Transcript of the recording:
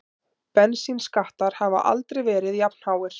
Bensínskattar hafa aldrei verið jafnháir